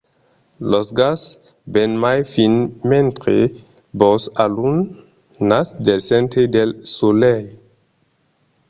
lo gas ven mai fin mentre vos alunhatz del centre del solelh